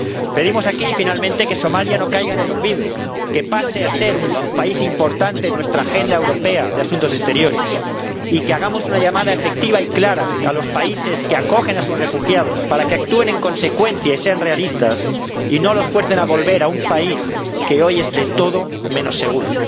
Pedimos aquí, finalmente, que Somalia no caiga en el olvido, que pase a ser un país importante en nuestra agenda europea de Asuntos Exteriores y que hagamos una llamada efectiva y clara a los países que acogen a sus refugiados para que actúen en consecuencia y sean realistas y no los fuercen a volver a un país que hoy es de todo menos seguro.